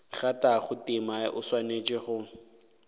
kgathago tema o swanetše go